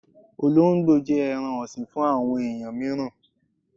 Ọlóńgbò jẹ́ ẹran ọ̀sìn fún àwọn ẹ̀yàn míràn.